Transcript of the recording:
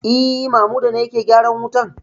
E, Mamuda ne yake gyaran wutan.